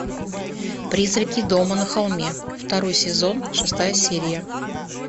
призраки дома на холме второй сезон шестая серия